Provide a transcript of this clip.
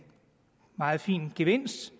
meget fin gevinst